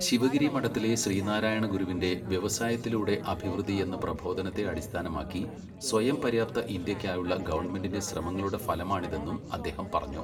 ശിവഗിരി മഠത്തിലെ ശ്രീനാരായണഗുരുവിന്റെ വ്യവസായത്തിലൂടെ അഭിവൃദ്ധി എന്ന പ്രബോധനത്തെ അടിസ്ഥാനമാക്കി സ്വയംപര്യാപ്ത ഇന്ത്യ യ്ക്കായുള്ള ഗവണ്മെന്റിന്റെ ശ്രമങ്ങളുടെ ഫലമായാണിതെന്നും അദ്ദേഹം പറഞ്ഞു.